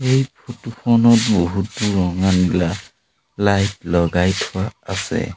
এই ফটো খনত বহুতো ৰঙা নীলা লাইট লগাই থোৱা আছে।